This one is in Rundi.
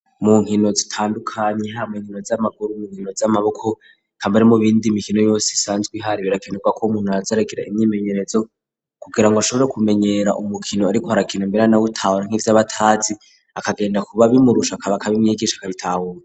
Mu nkino zitandukanye harimwo inkino z'amaguru mu nkino z'amaboko ikamare mu bindi mikino yose isanzwe ihari birakinuka ko umuntu arazorekera imyimenyerezo kugira ngo ashobore kumenyera umukino ariko harakino mbera na butawa nk'ivy'abatazi akagenda kuba bimurusha kabaka b'imyigisha karitahuwe.